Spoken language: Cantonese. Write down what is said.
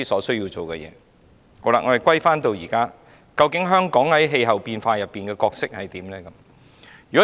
說回今天的香港，究竟香港在氣候變化中的角色為何呢？